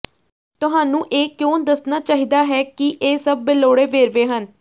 ਤੁਹਾਨੂੰ ਇਹ ਕਿਉਂ ਦੱਸਣਾ ਚਾਹੀਦਾ ਹੈ ਕਿ ਇਹ ਸਭ ਬੇਲੋੜੇ ਵੇਰਵੇ ਹਨ